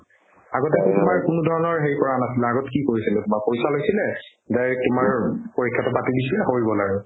আগতেতো তোমাৰ কোনো ধৰণৰ হেৰি কৰা নাছিলে আগত কি কৰিছিলে বা পইচা লৈছিলে direct তোমাৰ পৰীক্ষাতো পাতি দিছে হৈ গ'ল আৰু